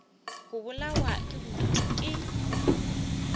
go bolawa ke bodutu ke